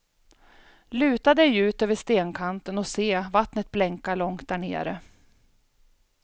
Luta dig ut över stenkanten och se vattnet blänka långt därnere.